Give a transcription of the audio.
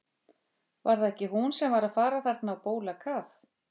Var það ekki hún sem var að fara þarna á bólakaf?